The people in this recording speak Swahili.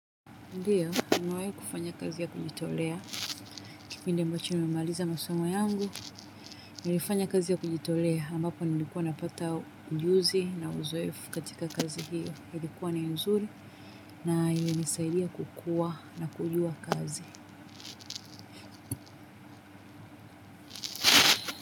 Ndiyo, nimewai kufanya kazi ya kujitolea. Kipindi ambacho nimemaliza masomo yangu. Nilifanya kazi ya kujitolea. Ambapo nilikuwa napata ujuzi na uzoefu katika kazi hiyo. Ilikuwa ni nzuri na ilinisaidia kukua na kujua kazi.